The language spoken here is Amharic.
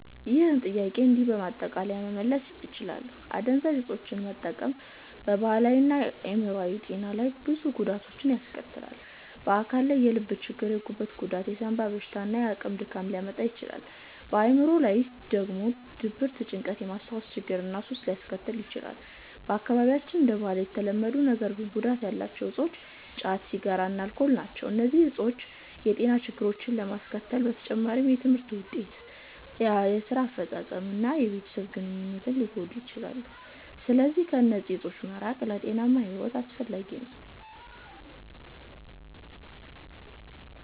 ይህን ጥያቄ እንዲህ በማጠቃለያ መመለስ ትችላለህ፦ አደንዛዥ እፆችን መጠቀም በአካላዊ እና በአዕምሮአዊ ጤና ላይ ብዙ ጉዳቶችን ያስከትላል። በአካል ላይ የልብ ችግር፣ የጉበት ጉዳት፣ የሳንባ በሽታ እና የአካል ድካም ሊያመጣ ይችላል። በአዕምሮ ላይ ደግሞ ድብርት፣ ጭንቀት፣ የማስታወስ ችግር እና ሱስ ሊያስከትል ይችላል። በአካባቢያችን እንደ ባህል የተለመዱ ነገር ግን ጉዳት ያላቸው እፆች ጫት፣ ሲጋራ እና አልኮል ናቸው። እነዚህ እፆች የጤና ችግሮችን ከማስከተል በተጨማሪ የትምህርት ውጤትን፣ የስራ አፈጻጸምን እና የቤተሰብ ግንኙነትን ሊጎዱ ይችላሉ። ስለዚህ ከእነዚህ እፆች መራቅ ለጤናማ ሕይወት አስፈላጊ ነው።